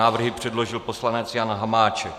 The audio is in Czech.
Návrhy předložil poslanec Jan Hamáček.